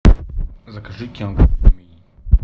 закажи кент